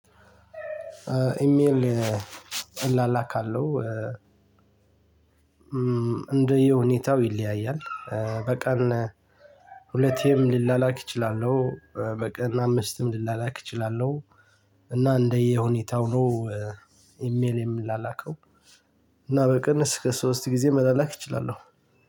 ኢሜል እላላካለሁ። እንደየ ሁኔታው ይለያያል። በቀን ሁለቴም ልላላክ እችላለሁ። በቀን አምስትም ልላላክ እችላለሁ። እና እንደየ ሁኔታው ነው- ኢሜል የምላላከው እና በቅን እስከ ሶስት ጊዜ መላላክ እችላለሁ።